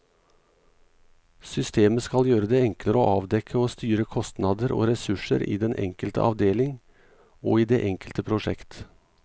Systemet skal gjøre det enklere å avdekke og styre kostnader og ressurser i den enkelte avdeling og i det enkelte prosjekt.